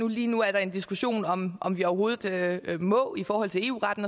og lige nu er der en diskussion om om vi overhovedet må i forhold til eu retten